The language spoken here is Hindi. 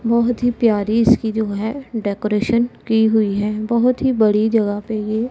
बहोत हि प्यारी इसकी जो हैं डेकोरेशन कि हुई हैं बहोत ही बड़ी जगह पे ये--